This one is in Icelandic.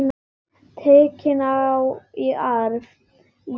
Tekin í arf.